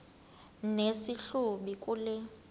nesi hlubi kule